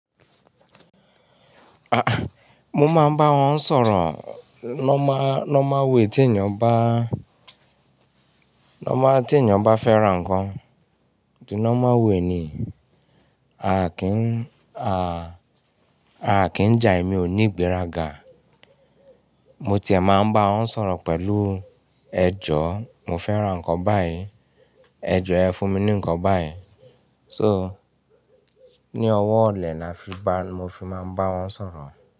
Aah! Mo máa ń bá wọn sọ̀rọ̀, normal normal way, tí èèyàn bá, normal tí èèyàn bá fẹ́ra nǹkan. The normal way ni, a kì ń, a, a kì ń jà, èmi ò ní ìgbéraga. Mo ti è máa ń bá wọn sọ̀rọ̀ pẹ̀lú ẹjọ́, mo fẹ́ ra nǹkan báyìí, ẹ jọ́ ẹ fún mi ní nǹkan báyìí. So, ní ọwọ́ ọ̀lẹ ni a fi bá, mo fi máa ń bá wọn sọ̀rọ̀.